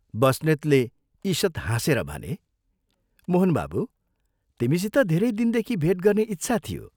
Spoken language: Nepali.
बस्नेतले ईषत् हाँसेर भने, "मोहन बाबू, तिमीसित धेरै दिनदेखि भेट गर्ने इच्छा थियो।